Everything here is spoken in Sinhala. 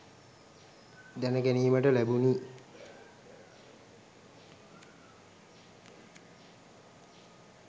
දැන ගැනීමට ලැබුණි.